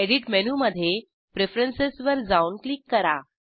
edit मेनूमधे preferences वर जाऊन क्लिक करा